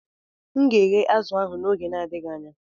M ga-eghe azụ̀ ahụ n'oge n'adịghị anya.